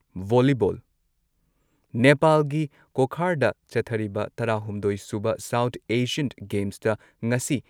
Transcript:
volleyball ꯅꯦꯄꯥꯜꯒꯤ ꯀꯣꯈꯥꯔꯗ ꯆꯠꯊꯔꯤꯕ ꯇꯔꯥꯍꯨꯝꯗꯣꯏ ꯁꯨꯕ ꯁꯥꯎꯊ ꯑꯦꯁꯤꯌꯟ ꯒꯦꯝꯁꯇ ꯉꯁꯤ